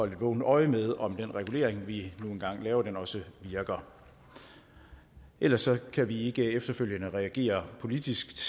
et vågent øje med om den regulering vi nu engang laver også virker ellers kan vi ikke efterfølgende reagere politisk